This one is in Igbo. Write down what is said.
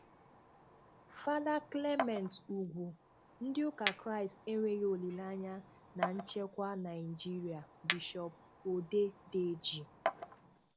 Fàdà Clement Úgwú: "Ndị́ ụ́kà Krístì énweghị òlíléányá ná nchékwá Nàjïrị̀a" - Bishop Odedeji